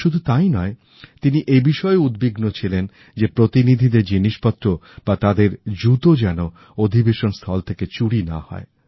শুধু তাই নয় তিনি এইবিষয়েও উদ্বিগ্ন ছিলেন যে প্রতিনিধিদের জিনিসপত্র বা তাদের জুতো যেনঅধিবেশন স্থল থেকে চুরি না হয়